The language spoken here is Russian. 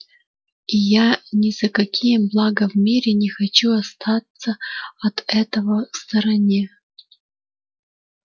и я ни за какие блага в мире не хочу остаться от этого в стороне